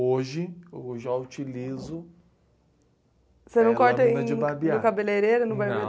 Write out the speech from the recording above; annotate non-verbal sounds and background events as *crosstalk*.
Hoje eu já utilizo... *crosstalk* Máquina de barbear. Você não corta no cabeleireiro, no barbeiro?